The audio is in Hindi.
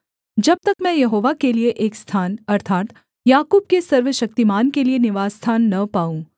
जब तक मैं यहोवा के लिये एक स्थान अर्थात् याकूब के सर्वशक्तिमान के लिये निवासस्थान न पाऊँ